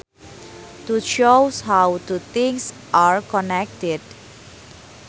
To shows how two things are connected